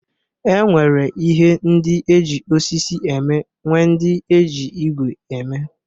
E nwere ihe ndị e ji osisi eme nwee ndị e ji igwe eme.